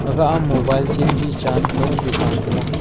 agah aa mobile chem ji chan pe dukan thega.